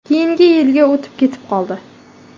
Keyingi yilga o‘tib ketib qoldi.